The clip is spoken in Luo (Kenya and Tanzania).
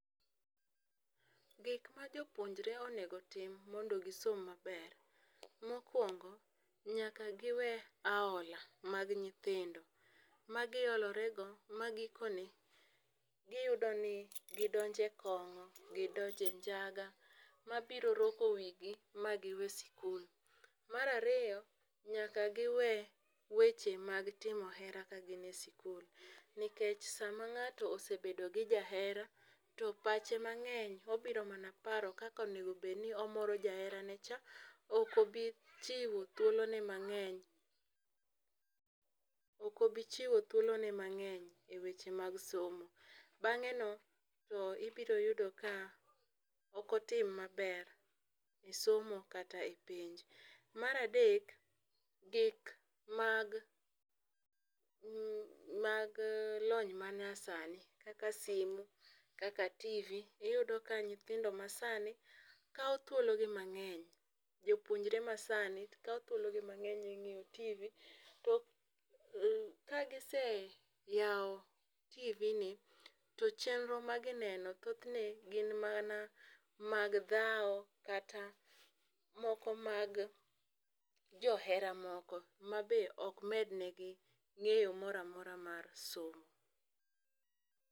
Gik ma jopuonjore onego otim mondo gisom maber, mokwongo nyaka giwe aola mag nyithindo, ma gi olore go, ma gikone, guyido ni gidonje kongó, gidonje njaga. Mabiro roko wi gi ma giwe sikul. Mar ariyo, nyaka giwe weche mag timo hera ka gin e sikul. Nikech sama ngáto osebedo gi jahera, to pache mangény obiro mana paro kaka onego bed ni omoro jaherane cha. Ok obi chiwo thuolo ne mangény, ok obi chiwo thuolo ne mangény e weche mag somo. Bangé no to, ibiro yudo ka ok otim maber e somo kata e penj. Mar adek, gik mag mag lony ma nyasani, kaka simu, kaka tv, iyudo ka nyithindo ma sani kao thuologi mangény, jopuonjore ma sani, kao thuolo gi mangény e ngéyo tv. To ka gise yao TV ni to chenro ma gineno, thothne gin mana mag dhao, kata moko mag johera moko, ma be ok med ne gi ngéyo moramora mar somo.